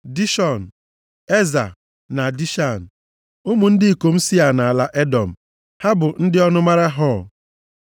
Dishọn, Eza na Dishan. Ụmụ ndị ikom Sia nʼala Edọm, ha bụ ndị ọnụmara Hor.